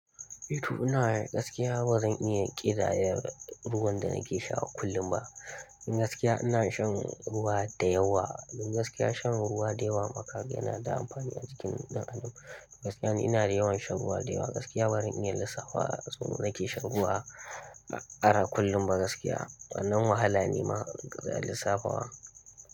Eh to ina yi gaskiya bazan iya ƙidaya ruwan da nake sha kullum ba. Don gaskiya ina shan ruwa da yawa. Don gaskiya shan ruwa da yawa makaho yana da amfani a jikin ɗan adam. Gaskiya ni ina da yawan shan ruwa da yawa. Gaskiya bari in yi lissafa su nan nake shan ruwa, ba ƙara kullum ba gaskiya. Nan wahala ne ma ƙidaya lissafawa.